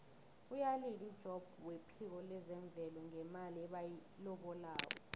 uyalila ujobb wephiko lezemvelo ngemali ebayilobako